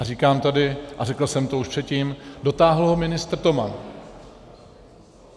A říkám tady a řekl jsem to už předtím, dotáhl ho ministr Toman.